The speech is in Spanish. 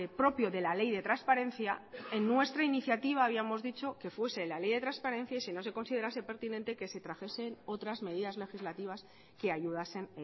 propio de la ley de transparencia en nuestra iniciativa habíamos dicho que fuese la ley de transparencia y si no se considerase pertinente que se trajesen otras medidas legislativas que ayudasen